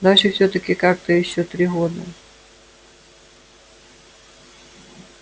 дальше всё-таки как-то ещё три года